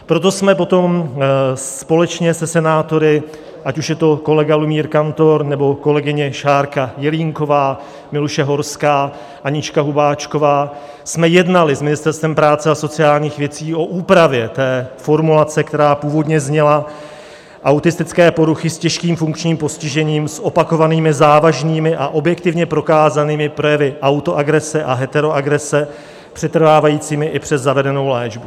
Proto jsme potom společně se senátory, ať už je to kolega Lumír Kantor, nebo kolegyně Šárka Jelínková, Miluše Horská, Anička Hubáčková, jsme jednali s Ministerstvem práce a sociálních věcí o úpravě té formulace, která původně zněla - autistické poruchy s těžkým funkčním postižením, s opakovanými závažnými a objektivně prokázanými projevy autoagrese a heteroagrese přetrvávajícími i přes zavedenou léčbu.